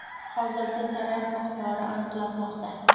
Hozirda zarar miqdori aniqlanmoqda.